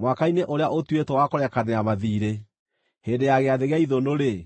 mwaka-inĩ ũrĩa ũtuĩtwo wa kũrekanĩra mathiirĩ, hĩndĩ ya Gĩathĩ gĩa Ithũnũ-rĩ,